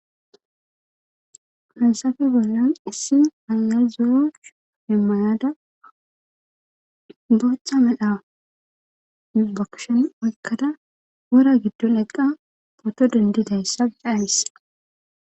Hasafe bollan issi ayazo7chu hemmanada bochcha medha bakshon oykkada wora giddon eqqa poto dendidayssa dhayabisa.